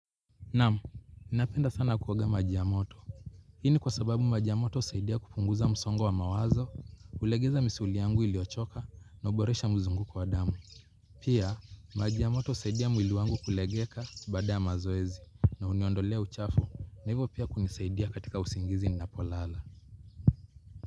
Naam, napenda sana kuoga maji ya moto. Hii ni kwa sababu, maji ya moto husaidia kupunguza msongo wa mawazo, ulegeza misuli yangu iliochoka na uboresha mzunguko wa damu. Pia, maji ya moto husaidia mwili wangu kulegeka baada ya mazoezi na uniondolea uchafu, hivyo pia hunisaidia katika usingizi ninapolala.